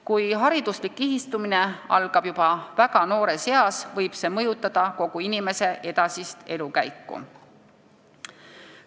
Kui hariduslik kihistumine algab juba väga noores eas, võib see mõjutada kogu inimese edasist elukäiku.